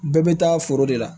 Bɛɛ bɛ taa foro de la